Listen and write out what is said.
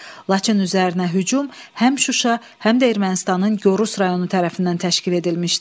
Laçın üzərinə hücum həm Şuşa, həm də Ermənistanın Gorus rayonu tərəfindən təşkil edilmişdi.